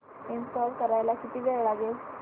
install करायला किती वेळ लागेल